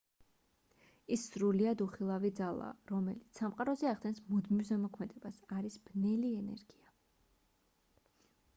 ის სრულიად უხილავი ძალაა რომელიც სამყაროზე ახდენს მუდმივ ზემოქმედებას არის ბნელი ენერგია